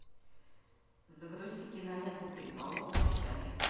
загрузи киноленту переполох в общаге